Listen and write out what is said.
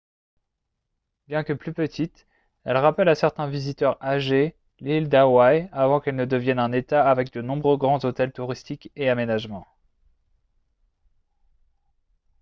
bien que plus petite elle rappelle à certains visiteurs âgés l'île d'hawaii avant qu'elle ne devienne un état avec de nombreux grands hôtels touristiques et aménagements